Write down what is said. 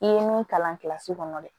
I ye min kalan kilasi kɔnɔ dɛ